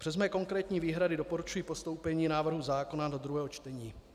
Přes mé konkrétní výhrady doporučuji postoupení návrhu zákona do druhého čtení.